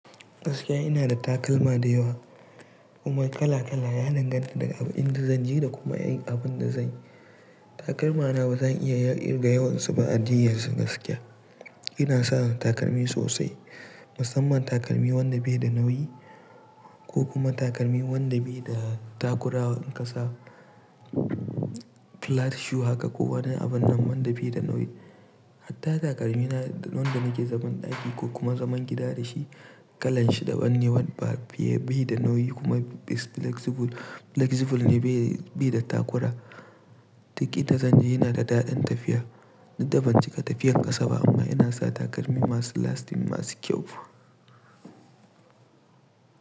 Gaskiya ina da takalma da yawa kuma kala kala, ya danganta da ni daga abin da zan je da kuma abin da zan yi. Takalma na ba zan iya yin kirga yawansu ba a jiya su gaskiya. Ina sa takalmi sosai, musamman takalmi wanda bai da nauyi ko kuma takalmi wanda bai da takura. In ka sa flat shoe haka ko wani abin nan wanda bai da nauyi. Hatta takalmi na, na wanda nake zaman ɗaki ko kuma zaman gida da shi, kalan shi daban ne wanda ba shi da nauyi kuma flexible ne bai da takura. Duk in da zan je yana da daɗin tafiya, duk dabanci ka tafiyar ƙasa ba amma ina sa takalmi masu lasting, masu kyau.